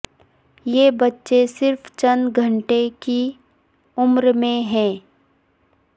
یہ بچے صرف چند گھنٹے کی عمر میں ہیں